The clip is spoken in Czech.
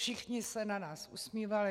Všichni se na nás usmívali.